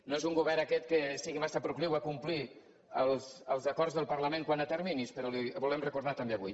no és un govern aquest que sigui massa procliu a complir els acords del parlament quant a terminis però li ho volem recordar també avui